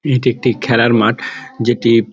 এটি একটি খেলার মাঠ | যেটি --